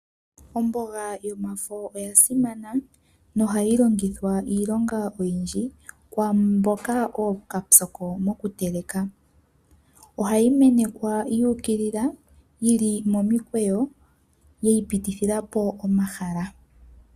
Omboga yomafo oya simana, ohayi longithwa iilonga oyindji kwaamboka ookapyoko mokuteleka. Ohayi menekwa yuukilila yili momikweyo yiipitithilapo omahala.